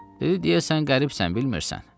Dedi deyəsən qəribsən, bilmirsən?